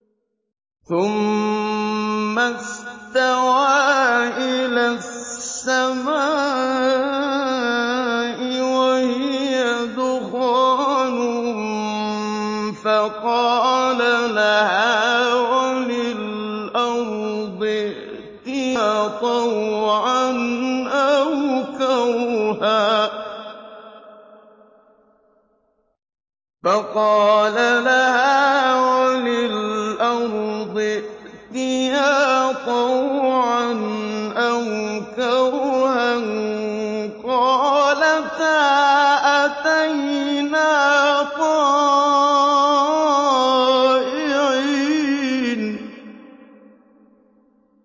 ثُمَّ اسْتَوَىٰ إِلَى السَّمَاءِ وَهِيَ دُخَانٌ فَقَالَ لَهَا وَلِلْأَرْضِ ائْتِيَا طَوْعًا أَوْ كَرْهًا قَالَتَا أَتَيْنَا طَائِعِينَ